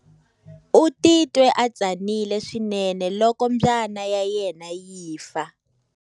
U titwe a tsanile swinene loko mbyana ya yena yi fa.